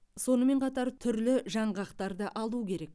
сонымен қатар түрлі жаңғақтарды алу керек